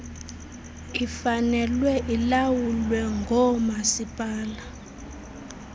ifanele ilawulwe ngoomasipala